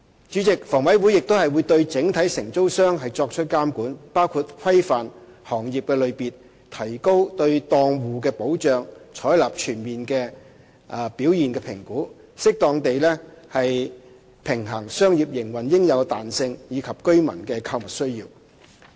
主席，房委會亦會對整體承租商作出監管，包括規範行業類別、提高對檔戶的保障及採納全面的表現評估，以適當地平衡商業營運應有的彈性及居民的購物需要。